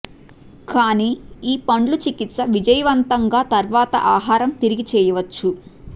కానీ ఈ పండ్లు చికిత్స విజయవంతంగా తర్వాత ఆహారం తిరిగి చేయవచ్చు